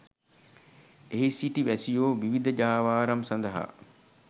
එහි සිටි වැසියෝ විවිධ ජාවාරම් සඳහා